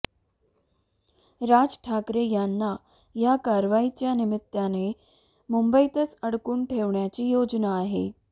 राज ठाकरे यांना या कारवाईच्या निमित्ताने मुंबईतच अडकून ठेवण्याची योजना आहे